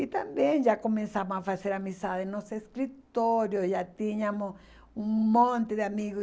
E também já começamos a fazer amizade nos escritórios, já tínhamos um monte de amigos.